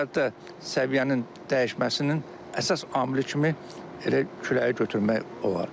Xəzərdə səviyyənin dəyişməsinin əsas amili kimi elə küləyi götürmək olar.